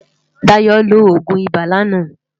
Dayo ló ógún ibá làná